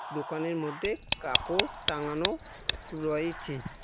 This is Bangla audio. দোকানের মধ্যে কাপড় টাঙানো রয়েছে।